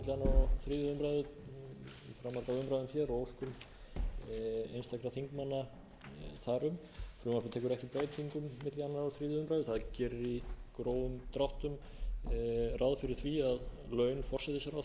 þar um frumvarpið tekur ekki breytingum milli annars og þriðju umræðu það gerir í grófum dráttum ráð fyrir því að laun forsætisráðherra